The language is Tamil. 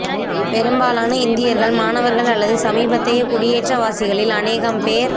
பெரும்பாலான இந்தியர்கள் மாணவர்கள் அல்லது சமீபத்தைய குடியேற்ற வாசிகளில் அநேகம் பேர்